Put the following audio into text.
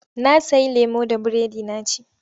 Na sayi lemo da biredi na ci.